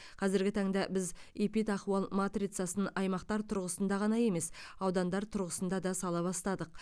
қазіргі таңда біз эпидахуал матрицасын аймақтар тұрғысында ғана емес аудандар тұрғысында да сала бастадық